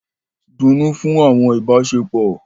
Dunnú fún àwọn ìbáṣepọ̀!